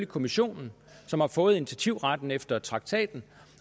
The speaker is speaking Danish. kommissionen som har fået initiativretten efter traktaten